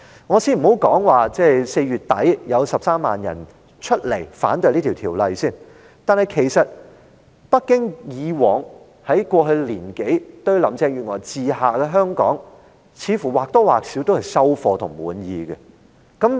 我先不談4月底有13萬人上街反對修例，其實北京以往兩年對於林鄭月娥治下的香港，似乎在一定程度也算滿意。